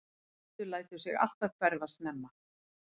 Addi lætur sig alltaf hverfa snemma.